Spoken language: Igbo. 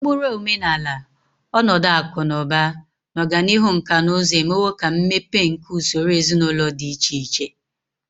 Ụkpụrụ omenala, ọnọdụ akụ na ụba, na ọganihu nkà na ụzụ emewo ka mmepe nke usoro ezinụlọ dị iche iche.